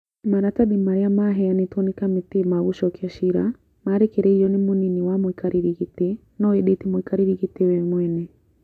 Maratathi marĩa maheanĩtwo nĩ kamĩtĩ ma gũcokia ciira marekereirio nĩ mũnini wa mũikarĩri gĩtĩ no ĩndĩ ti mũikarĩri gĩtĩ we mwene